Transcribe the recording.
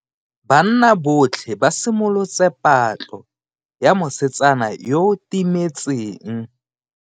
Banna botlhe ba simolotse patlo ya mosetsana yo o timetseng.